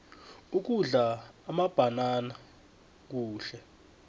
ukudla amabhanana kuhle